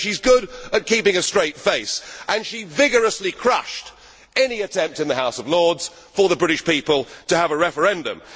So she is good at keeping a straight face, and she vigorously crushed any attempt in the House of Lords for the British people to have a referendum.